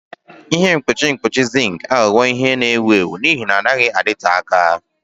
Ihe mkpuchi mkpuchi zinc aghọwo ihe na-ewu ewu n'ihi na ha anaghị adịte aka.